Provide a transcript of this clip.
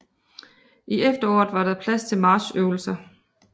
I efteråret var der plads til marchøvelser